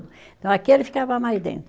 Então, aquele ficava mais dentro.